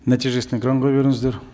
нәтижесін экранға беріңіздер